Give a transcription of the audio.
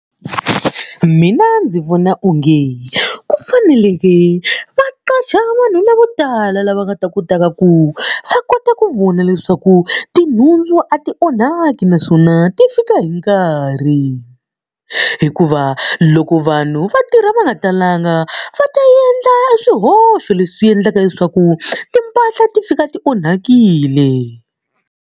Mina ndzi vona onge ku faneleke va qasha vanhu lavo tala lava nga ta kotaka ku va kota ku vona leswaku tinhundzu a ti onhaki naswona ti fika hi nkarhi. Hikuva loko vanhu va tirha va nga talanga va ta endla swihoxo leswi endlaka leswaku timpahla ti fika ti onhakile.